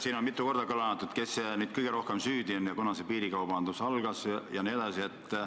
Siin on mitu korda kõlanud väited, kes siin kõige rohkem süüdi on ja kunas see piirikaubandus ikkagi algas.